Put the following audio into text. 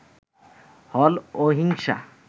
হল অহিংসা